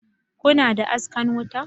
Kuna da askan wuta